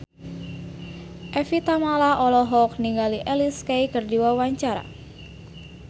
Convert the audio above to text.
Evie Tamala olohok ningali Alicia Keys keur diwawancara